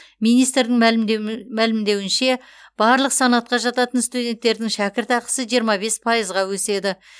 министрдің мәлімдеуінше барлық санатқа жататын студенттердің шәкіртақысы жиырма бес пайызға өседі